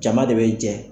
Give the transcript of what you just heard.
Jama de bɛ jɛ